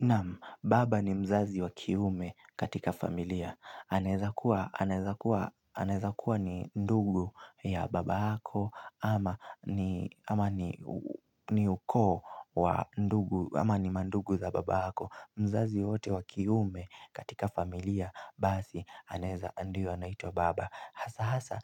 Naam, baba ni mzazi wa kiume katika familia, anaeza kuwa anaeza kuwa ni ndugu ya baba yako, ama ni, ama ni ukoo wa ndugu ama ni mandugu za baba yako. Mzazi wowote wa kiume katika familia basi anaeza ndio anaitwa baba, hasa hasa